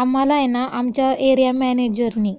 आम्होहाला ऐ ना आमच्या एरिया मॅनेजरनी, हो, हो, हो.